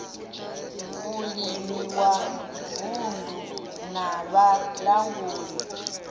vhulimi wa vunddu na vhalanguli